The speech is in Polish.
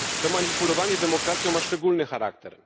Takie manipulowanie demokracją ma szczególny charakter.